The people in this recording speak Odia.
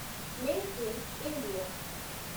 make in India